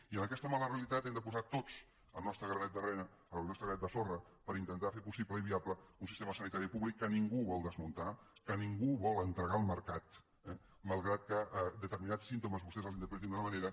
i en aquesta mala realitat hi hem de posar tots el nostre granet de sorra per intentar fer possible i viable un sistema sanitari públic que ningú vol desmuntar que ningú vol entregar al mercat malgrat que determinats símptomes vostès els interpretin d’una manera